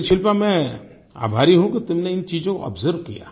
लेकिन शिल्पा मैं आभारी हूँ कि तुमने इन चीज़ों को आब्जर्व किया